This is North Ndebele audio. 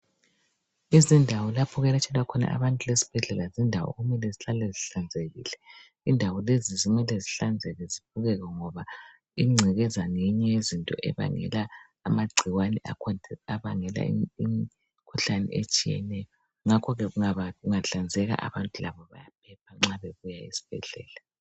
Izindawo lapho okuyelatshelwa khona abantu ezibhedlela yindawo okumele zihlale zihlanzekile. Indawo lezi kumele zihlanzeke zibukeke ngoba ingcekeza ngeyinye yezinto ezibangela amagcikwane abangela imikhuhlane etshiyeneyo ngakho-ke kungahlanzeka abantu bayaphepha nxa babuya esibhedlela.